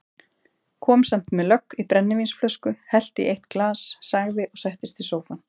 Kom samt með lögg í brennivínsflösku, hellti í eitt glas, sagði og settist í sófann